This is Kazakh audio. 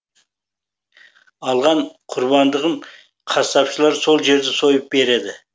алған құрбандығын қасапшылар сол жерде сойып береді